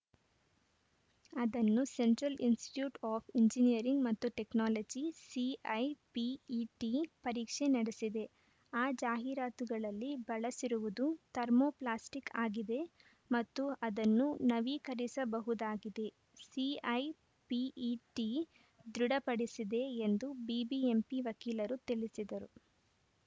ಅದನ್ನು central institute of engineering ಮತ್ತು technology CIPET ಪರೀಕ್ಷೆ ನಡೆಸಿದೆ ಆ ಜಾಹೀರಾತುಗಳಲ್ಲಿ ಬಳಸಿರುವುದು ಥರ್ಮೋಪ್ಲಾಸ್ಟಿಕ್‌ ಆಗಿದೆ ಮತ್ತು ಅದನ್ನು ನವೀಕರಿಸಬಹುದಾಗಿದೆ ಸಿಐಪಿಇಟಿ ದೃಢಪಡಿಸಿದೆ ಎಂದು ಬಿಬಿಎಂಪಿ ವಕೀಲರು ತಿಳಿಸಿದರು